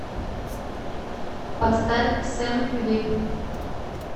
поставь сэм вик